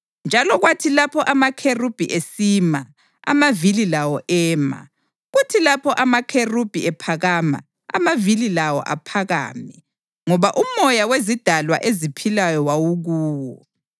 Njalo kwathi lapho amakherubhi esima, amavili lawo ema, kuthi lapho amakherubhi ephakama, amavili lawo aphakame, ngoba umoya wezidalwa eziphilayo wawukuwo.